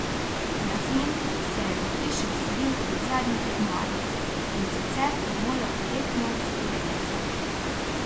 Jasmin se je v hišo vselil kot zadnji tekmovalec in sicer je moral direktno v spovednico.